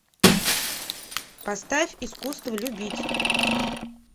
поставь искусство любить